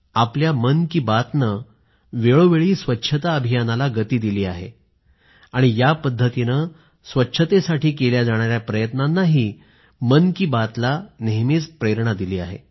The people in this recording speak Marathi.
आपल्या मन की बातनं वेळोवेळी स्वच्छता अभियानाला गती दिली आहे आणि या पद्धतीनं स्वच्छतेसाठी केल्या जाणाऱ्या प्रयत्नांनाही मन की बात ला नेहमीच प्रेरणा दिली आहे